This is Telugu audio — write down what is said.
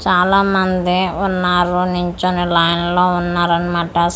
చాలా మంది ఉన్నారు నిల్చొని లైన్ లో ఉన్నారు అన్నమాట స్కూటీ .